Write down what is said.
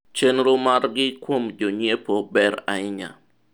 chenro margi kuom jonyiepo ber ahinya